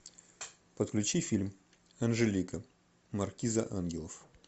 подключи фильм анжелика маркиза ангелов